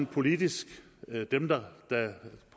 politisk